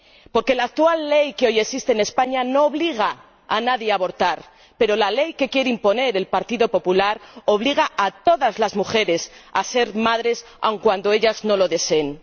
Porque la ley que existe actualmente en España no obliga a nadie a abortar, pero la ley que quiere imponer el Partido Popular obliga a todas las mujeres a ser madres, aun cuando ellas no lo deseen.